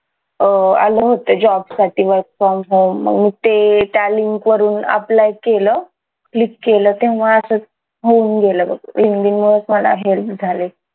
अं आलं होतं job साठी work from home ते त्या link वरून apply केलं click केलं तेव्हा असच होऊन गेलं linkedin मुळेच मला help झाली